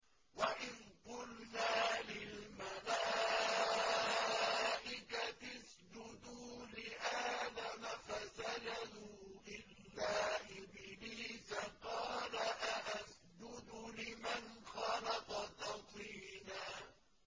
وَإِذْ قُلْنَا لِلْمَلَائِكَةِ اسْجُدُوا لِآدَمَ فَسَجَدُوا إِلَّا إِبْلِيسَ قَالَ أَأَسْجُدُ لِمَنْ خَلَقْتَ طِينًا